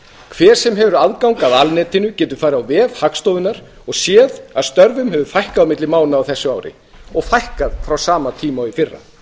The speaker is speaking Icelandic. hver sem hefur aðgang að alnetinu getur farið á vef hagstofunnar og séð að störfum hefur fækkað milli mánaða á þessu ári og fækkað frá sama tíma í fyrra